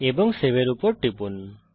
এবং সেভ এর উপর টিপুন